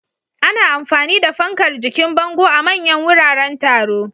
Ana amfani da fankar jikin bango a manyan wuraren taro.